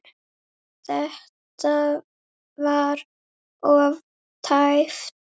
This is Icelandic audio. Þetta var of tæpt.